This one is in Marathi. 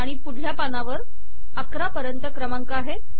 आणि पुढल्या पानावर अकरा पर्यंत क्रमांक आहेत